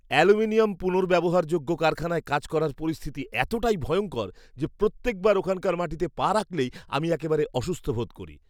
Aluminium পুনর্ব্যবহারযোগ্য কারখানায় কাজ করার পরিস্থিতি এতটাই ভয়ঙ্কর যে প্রত্যেকবার ওখানকার মাটিতে পা রাখলেই আমি একেবারে অসুস্থ বোধ করি।